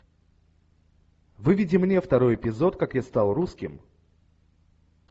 выведи мне второй эпизод как я стал русским